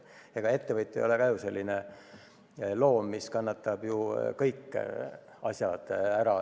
Ega ettevõtja ka ei ole ju selline loom, kes kannatab kõik ära.